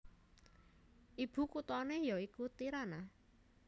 Ibukuthané ya iku Tirana